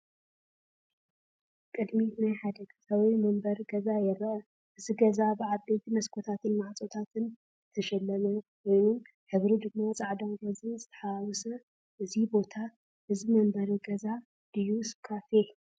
ቅድሚት ናይ ሓደ ገዛ ወይ መንበሪ ገዛ ይርአ። እቲ ገዛ ብዓበይቲ መስኮታትን ማዕጾታትን ዝተሸለመ ኮይኑ፡ ሕብሩ ድማ ጻዕዳን ሮዛን ዝተሓዋወሰ እዩ። እዚ ቦታ እዚ መንበሪ ገዛ ድዩስ ካፌ?